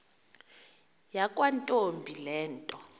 yakwantombi le nto